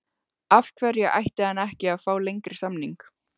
Af hverju ætti hann ekki að fá lengri samning?